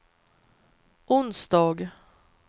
onsdag